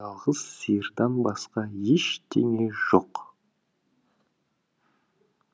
сиырдан басқа ештеңе жоқ